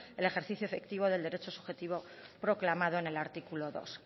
el ejercicio efectivo del derecho subjetivo proclamado en el artículo dos